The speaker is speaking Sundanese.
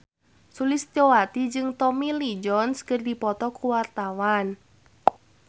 Sulistyowati jeung Tommy Lee Jones keur dipoto ku wartawan